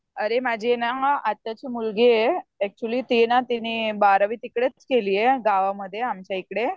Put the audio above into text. अरे माझी ये ना आत्याची मुलगी आहे, ऍक्च्युली ती ना तिने बारावीत तिकडेच केलीये गावामध्ये आमच्या इकडे.